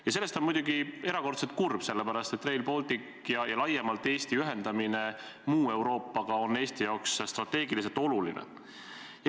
Ja sellest on muidugi erakordselt kahju, sellepärast et Rail Baltic ja laiemalt Eesti ühendamine muu Euroopaga on Eesti jaoks strateegiliselt oluline.